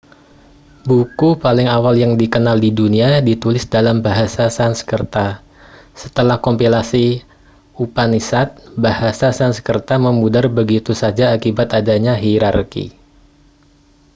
buku paling awal yang dikenal di dunia ditulis dalam bahasa sanskerta setelah kompilasi upanishad bahasa sansekerta memudar begitu saja akibat adanya hierarki